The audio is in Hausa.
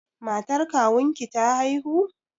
Matar kawunki ta haihu?